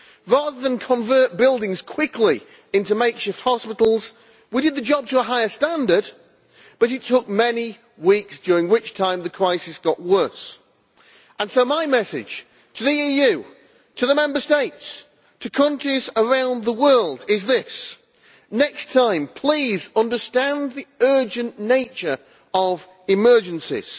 Rather than convert buildings quickly into makeshift hospitals, we did the job to a higher standard but it took many weeks, during which time the crisis got worse. So my message to the EU, to the Member States, to countries around the world is this next time please understand the urgent nature of emergencies,